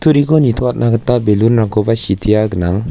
nitoatna gita ballon-rangkoba sitea gnang.